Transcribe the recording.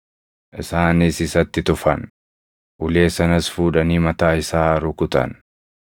Isaanis isatti tufan; ulee sanas fuudhanii mataa isaa rukutan.